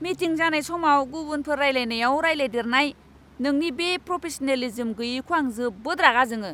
Meeting जानाय समाव गुबुनफोर रायलायनायाव रायलायदेरनाय, नोंनि बे प्रफेशनेलिज्म गैयैखौ आं जोबोद रागा जोङो!